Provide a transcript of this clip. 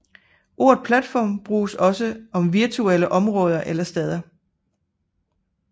Ordet platform bruges også om virtuelle områder eller steder